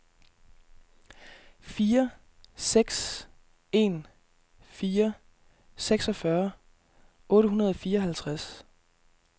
fire seks en fire seksogfyrre otte hundrede og fireoghalvtreds